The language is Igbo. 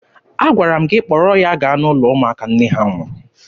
Agwara m gị kpọrọ ya gaa n'ụlọ ụmụaka nne ha nwụrụ!